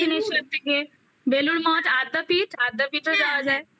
দক্ষিনেশ্বর থেকে বেলুড় মঠ আদ্যাপীঠ আদ্যাপীঠও যাওয়া যায়